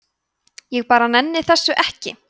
ég bara nenni þessu ekki